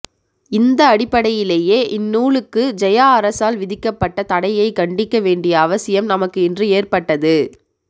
இந்த அடிப்படையிலேயே இந்நூலுக்கு ஜெயா அரசால் விதிக்கப்பட்ட தடையைக் கண்டிக்க வேண்டிய அவசியம் நமக்கு இன்று ஏற்பட்டது